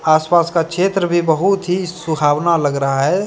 आस पास का क्षेत्र भी बहुत ही सुहावना लग रहा है।